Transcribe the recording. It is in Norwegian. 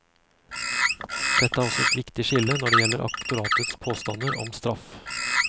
Dette er også et viktig skille når det gjelder aktoratets påstander om straff.